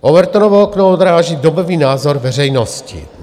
Overtonovo okno odráží dobový názor veřejnosti.